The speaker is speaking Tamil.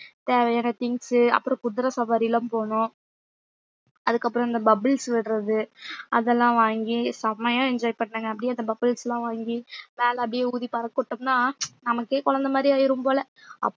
தேவையான things அப்புறம் குதிரை சவாரி எல்லாம் போனோம் அதுக்கப்புறம் இந்த bubbles விடுறது அதெல்லாம் வாங்கி செமையா enjoy பண்ணங்க அப்படியே அந்த bubbles லாம் வாங்கி மேல அப்படியே ஊதி பறக்க விட்டோம்னா நமக்கே குழந்தை மாதிரி ஆயிரும் போல